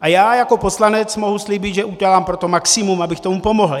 A já jako poslanec mohu slíbit, že udělám pro to maximum, abych tomu pomohl.